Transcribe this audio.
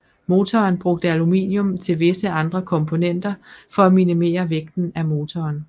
Motoren brugte aluminium til visse andre komponenter for at minimere vægten af motoren